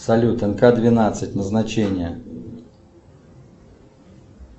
салют энка двенадцать назначение